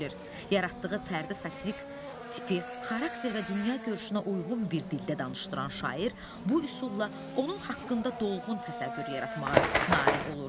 Yaratdığı fərdi satirik tipi, xarakter və dünya görüşünə uyğun bir dildə danışdıran şair bu üsulla onun haqqında dolğun təsəvvür yaratmağa nail olur.